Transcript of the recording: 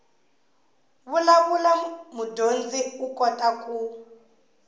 vulavula mudyondzi u kota ku